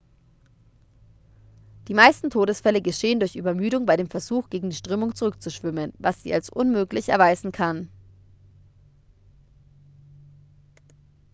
die meisten todesfälle geschehen durch übermüdung bei dem versuch gegen die strömung zurückzuschwimmen was sich als unmöglich erweisen kann